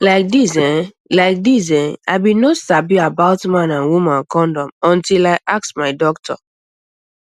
like this ehh like this ehh i bin no sabi about man and woman condom until i ask my doctor